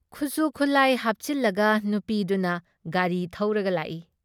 ꯈꯨꯖꯨ ꯈꯨꯠꯂꯥꯏ ꯍꯥꯞꯆꯤꯜꯂꯒ ꯅꯨꯄꯤꯗꯨꯅ ꯒꯥꯔꯤ ꯊꯧꯔꯒ ꯂꯥꯛꯏ ꯫